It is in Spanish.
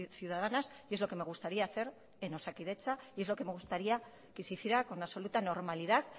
ciudadanas y es lo que me gustaría hacer en osakidetza y es lo que me gustaría que se hiciera con absoluta normalidad